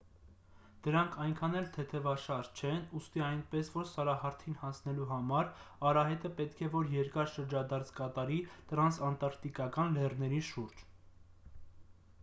դրանք այնքան էլ թեթևաշարժ չեն ուստի այնպես որ սարահարթին հասնելու համար արահետը պետք է որ երկար շրջադարձ կատարի տրանսանտարկտիկական լեռների շուրջ